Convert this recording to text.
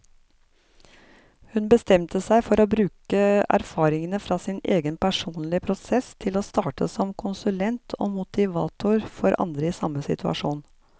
Hun bestemte seg for å bruke erfaringene fra sin egen personlige prosess til å starte som konsulent og motivator for andre i samme situasjon.